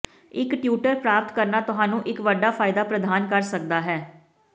ਇੱਕ ਟਿਊਟਰ ਪ੍ਰਾਪਤ ਕਰਨਾ ਤੁਹਾਨੂੰ ਇੱਕ ਵੱਡਾ ਫਾਇਦਾ ਪ੍ਰਦਾਨ ਕਰ ਸਕਦਾ ਹੈ